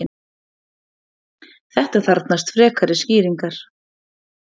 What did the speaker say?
þetta þarfnast frekari skýringar